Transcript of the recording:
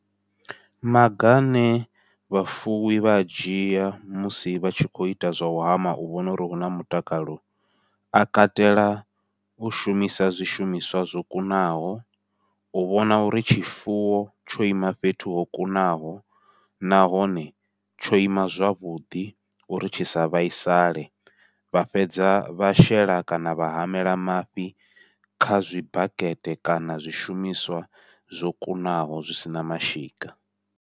Maga ane vhafuwi vha a dzhia musi vha tshi kho ita zwa u hama u vhona uri huna mutakalo, a katela u shumisa zwishumiswa zwo kunaho, u vhona uri tshifuwo tsho ima fhethu ho kunaho, nahone tsho ima zwavhuḓi uri tshi sa vhaisale, vha fhedza vha shela kana vha hamela mafhi kha zwi bakete kana zwishumiswa zwo kunaho zwi sina mashika.